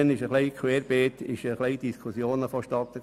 Seither fanden querbeet Diskussionen statt.